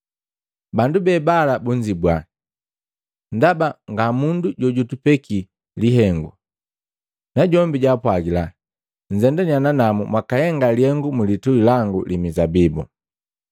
Bandu bebala bunzibua, ‘Ndaba ngamundu jojutupeki lihengu.’ Najombi jwaapwagila, ‘Nzendania nanamu mwakahenga lihengu mulitui langu li mizabibu.’ ”